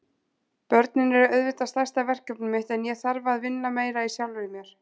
Börnin eru auðvitað stærsta verkefnið mitt en ég þarf að vinna meira í sjálfri mér.